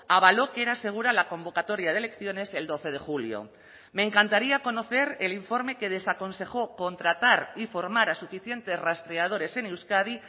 avaló que era asegura la convocatoria de elecciones el doce de julio me encantaría conocer el informe que desaconsejó contratar y formar a suficientes rastreadores en euskadi